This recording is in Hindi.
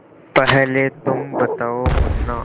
पहले तुम बताओ मुन्ना